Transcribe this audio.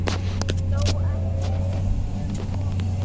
Þó ekki um of segir